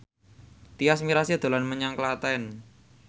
Tyas Mirasih dolan menyang Klaten